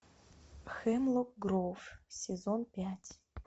хемлок гроув сезон пять